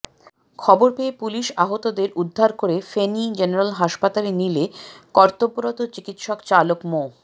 খবর পেয়ে পুলিশ আহতদের উদ্ধার করে ফেনী জেনারেল হাসপাতালে নিলে কর্তব্যরত চিকিৎসক চালক মো